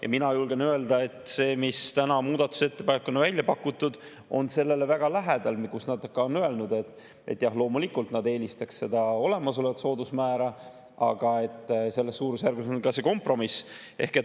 Ja mina julgen öelda, et see, mis täna on muudatusettepanekuna välja pakutud, on väga lähedal sellele, mille kohta nad ka on öelnud, et jah, loomulikult nad eelistaksid olemasolevat soodusmäära, aga selles suurusjärgus on ka see kompromiss.